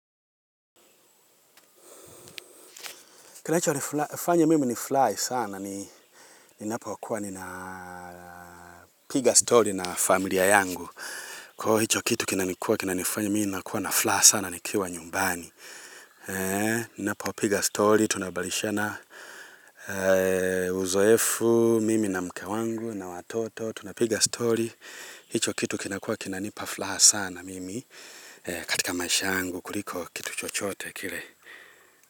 Kinachonifanya mimi nifurahi sana ni ninapokuwa nina piga story na familia yangu. Kwahivyo hicho kitu kinani kuwa kinanifanya mimi ninakuwa na furaha sana nikiwa nyumbani. Ninapopiga story tunabalishana uzoefu, mimi na mke wangu na watoto. Tunapiga story. Hicho kitu kinakuwa kinanipa furaha sana mimi katika maisha yangu kuliko kitu chochote kile.